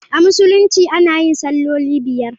A Musulunci ana yin salloli biyar.